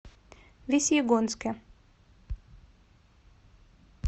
весьегонске